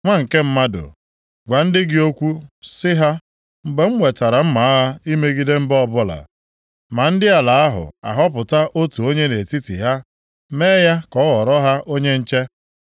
“Nwa nke mmadụ, gwa ndị gị okwu sị ha, ‘Mgbe m wetara mma agha imegide mba ọbụla, ma ndị ala ahụ ahọpụta otu onye nʼetiti ha mee ya ka ọ ghọrọ ha onye nche,